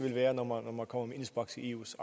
være når man kommer kommer med indspark til eus